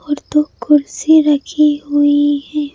और दो कुर्सी रखी हुई है।